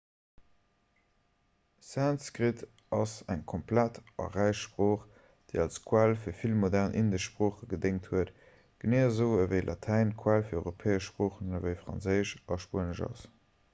sanskrit ass eng ganz komplex a räich sprooch déi als quell fir vill modern indesch sproochen gedéngt huet genee esou ewéi latäin d'quell fir europäesch sproochen ewéi franséisch a spuenesch ass